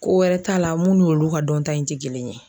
Ko wɛrɛ t'a la mun n'olu ka dɔnta in ti kelen ye.